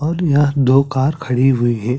और यह दो कार खड़ी हुई हैं ।